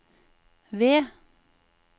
ved